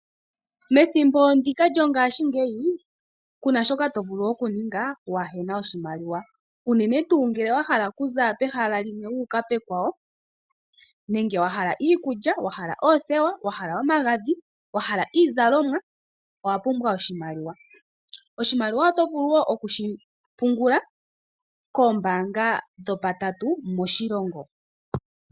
Methimbo ndika lyongaashingeyi ku na shoka to vulu oku ninga waahe na oshimaliwa. Unene tuu ngele wa hala okuza pehala limwe wu uka pekwawo. Wa hala iikulya, wahala oothewa, wa hala omagadhi, wa hala iizalomwa owa pumbwa oshimaliwa. Oshimaliwa oto vulu wo okushi pungula koombaanga dhopatatu moshilongo.